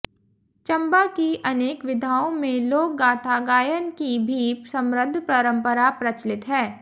चंबा की अनेक विधाओं में लोक गाथा गायन की भी समृद्ध परंपरा प्रचलित है